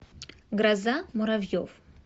гроза муравьев